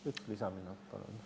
Üks lisaminut palun.